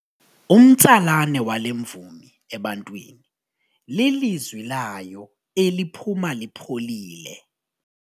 Umtsalane wale mvumi ebantwini lilizwi layo eliphuma lipholile.